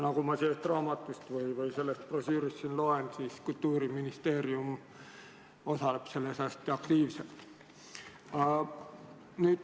Nagu ma sellest brošüürist loen, Kultuuriministeerium osaleb selles hästi aktiivselt.